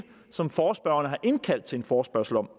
som forespørgerne har indkaldt til en forespørgsel om